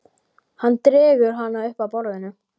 Hann dregur hana upp að borðinu.